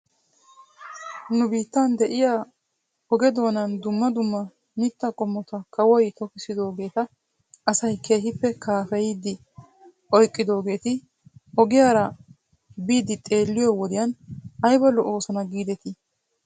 Nu biittan de'iyaa oge doonan dumma dumma mittaa qommota kawoy tokissidoogeeta asay keehippe kaafeyidi oyqqidoogeeti ogiyaara biidi xeelliyoo wodiyan ayba lo'oosona giidetii?